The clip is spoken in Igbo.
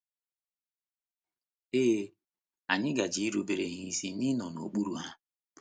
Ee, anyị gaje irubere ha isi na ịnọ n’okpuru ha.